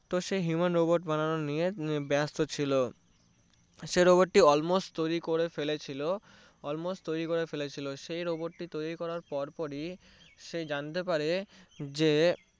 তো সে Human Robot বানানো নিয়ে ব্যাস্ত ছিলো সে Robot টি almost তৈরি করে ফেলেছিলো almost তৈরি করে ফেলেছিলো সে Robot টি তৈরি করার পরপরই সে জানতে পারে যে